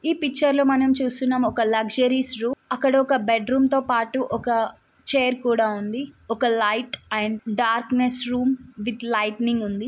ఈ పిక్చర్ లో మనం చూస్తున్నాం. ఒక లక్సరీస్ రూమ్ అక్కడ ఒక బెడ్ రూమ్ తో పాటు ఒక చైర్ కూడా ఉంది. ఒక light and darkness room with lighting ఉంది.